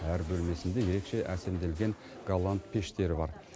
әр бөлмесінде ерекше әсемделген голланд пештері бар